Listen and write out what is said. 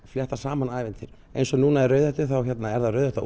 flétta saman ævintýrum eins og núna í Rauðhettu þá eru það Rauðhetta